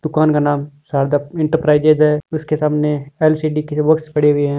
दुकान का नाम शारदा एंटरप्राइज है उसके सामने एल.सी.डी. के बॉक्स पड़े हुए है।